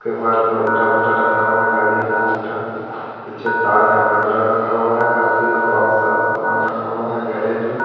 Rotavator रखा हुआ है गाड़ी का पीछे तार का बंडल रखा हुआ है काफी और बहुत सामान रखा हुआ है गैरेज में।